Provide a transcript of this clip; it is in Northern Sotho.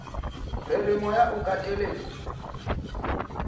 re re moya o kateletšwe